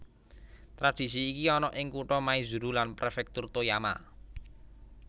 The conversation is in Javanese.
Tradhisi iki ana ing kutha Maizuru lan prefektur Toyama